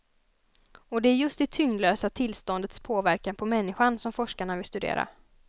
Och det är just det tyngdlösa tillståndets påverkan på människan som forskarna vill studera.